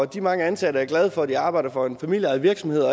de mange ansatte er glade for at de arbejder for en familieejet virksomhed og